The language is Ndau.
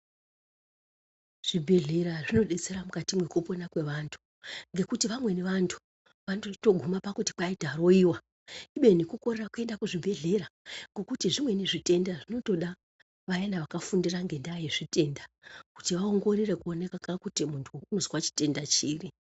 Zvibhedhlera zvinodetsera mukati mwekupona kwevantu, ngekuti vamweni vantu vanotoita pakuguma kuti kwai taroiwa. , kubeni kukorera kuenda kuzvibhedhlera, ngokuti zvimweni zvitenda zvinotoda, vayana vakafundira ngendaa yezvitenda ,kuti vaongorore kuoneka kuti muntu unozwa chitenda chiri